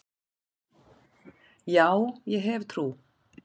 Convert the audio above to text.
Já, ég hef trú.